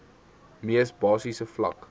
mees basiese vlak